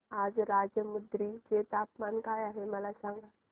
आज राजमुंद्री चे तापमान काय आहे मला सांगा